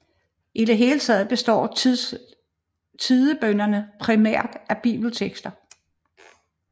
I det hele taget består tidebønnerne primært af bibeltekster